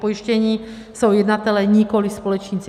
Pojištění jsou jednatelé, nikoli společníci.